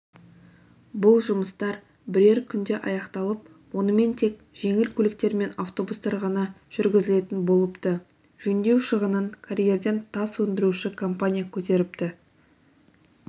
бұл жұмыстар бірер күнде аяқталып онымен тек жеңіл көліктер мен автобустар ғана жүргізілетін болыпты жөндеу шығынын карьерден тас өндіруші компания көтеріпті